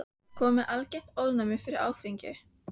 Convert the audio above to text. Kominn með algert ofnæmi fyrir áfengi.